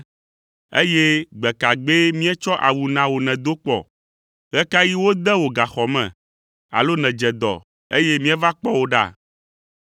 eye gbe ka gbee míetsɔ awu na wò nèdo kpɔ? Ɣe ka ɣi wode wò gaxɔ me alo nedze dɔ, eye míeva kpɔ wò ɖa?’